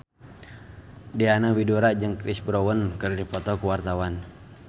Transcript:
Diana Widoera jeung Chris Brown keur dipoto ku wartawan